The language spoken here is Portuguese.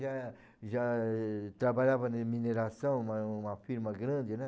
já já trabalhava em mineração, uma uma firma grande, né?